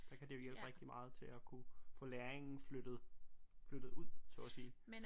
Der kan det jo hjælpe rigtig meget til at kunne få læringen flyttet flyttet ud så at sige